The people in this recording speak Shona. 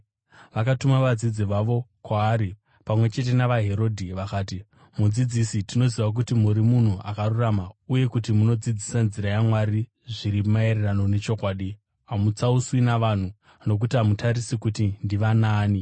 Vakatuma vadzidzi vavo kwaari pamwe chete navaHerodhi. Vakati, “Mudzidzisi, tinoziva kuti muri munhu akarurama uye kuti munodzidzisa nzira yaMwari zviri maererano nechokwadi. Hamutsauswi navanhu nokuti hamutarisi kuti ndivanaani.